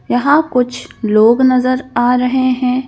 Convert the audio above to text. यहां कुछ लोग नजर आ रहे हैं।